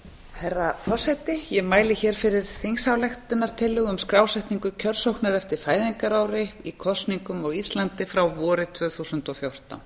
herra forseti ég mæli fyrir þingsályktunartillögu um skrásetningu kjörsóknar eftir fæðingarári í kosningum á íslandi frá vori tvö þúsund og fjórtán